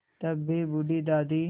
तब भी बूढ़ी दादी